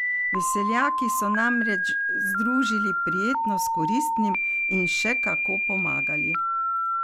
Veseljaki so namreč združili prijetno s koristnim in še kako pomagali.